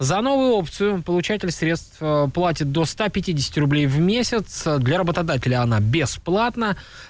за новую опцию получатель средств платит до ста пятидесяти рублей в месяц для работодателя она бесплатна